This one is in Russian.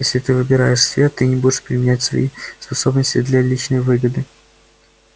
если ты выбираешь свет ты не будешь применять свои способности для личной выгоды